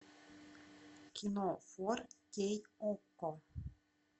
кино фор кей окко